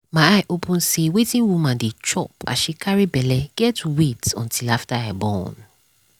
my eye open say wetin woman dey chop as she carry belle get weight until after i born